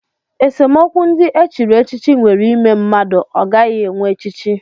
Esemokwu ndị e chiri echichi nwere ime mmadụ ọ gaghị enwe echichi